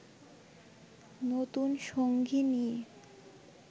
নতুন সঙ্গী নিয়ে